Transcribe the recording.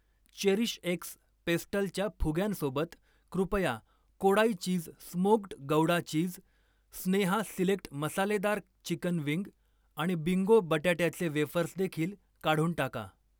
चेरीशएक्स पेस्टलच्या फुग्यांसोबत, कृपया Kodai cheese smoked Gouda cheese, Sneha select मसालेदार चिकन विंग आणि बिंगो बट्याट्याचे वेफर्स देखील काढून टाका.